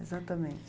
Exatamente.